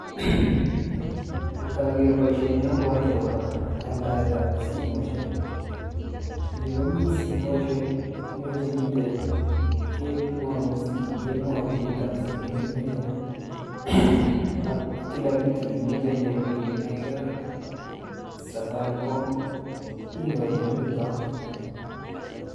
ngarer paishoni agere akopa aldaishetap simoshek. yu komi simoshik imuchi pitep kemwaun beit ap simet neimeche ak kila kitu neimeche nedilenee ak safaricom inyoru eng yutoyu